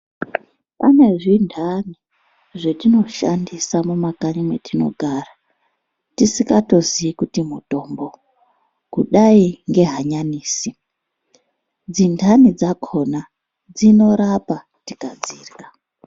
Pane zvintani zvatinoshandisa mumakanyi mwetinogara tisikatoziyi kuti mutombo kudayi nge hanyanisi dzintani dzakhona dzinorapa tikadzirya .